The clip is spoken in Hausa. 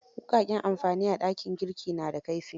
Wuƙaƙen amamfani a dakin gurki na da kaifi.